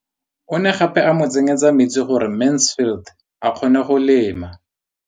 O ne gape a mo tsenyetsa metsi gore Mansfield a kgone go lema.